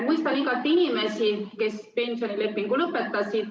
Mõistan igati inimesi, kes pensionilepingu lõpetasid.